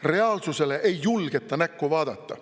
Reaalsusele ei julgeta näkku vaadata.